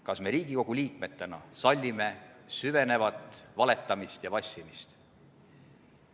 Kas me Riigikogu liikmetena sallime süvenevat valetamist ja vassimist?